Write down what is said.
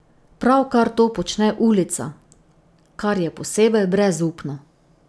Pravkar to počne ulica, kar je posebej brezupno.